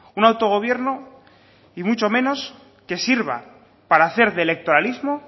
un autogobierno ni mucho menos que sirva para hacer de electoralismo